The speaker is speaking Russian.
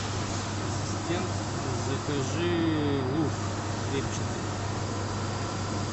ассистент закажи лук репчатый